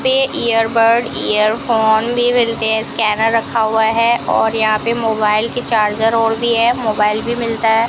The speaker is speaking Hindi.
पे इयरबर्ड इयरफोन भी मिलते हैं स्कैनर रखा हुआ हैं और यहाँ पे मोबाइल के चार्जर और भी हैं मोबाइल भी मिलता हैं।